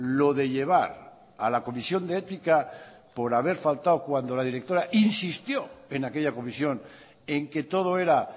lo de llevar a la comisión de ética por haber faltado cuando la directora insistió en aquella comisión en que todo era